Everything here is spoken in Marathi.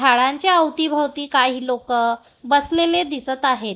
थाळांच्या अवतीभवती काही लोकं बसलेले दिसत आहेत.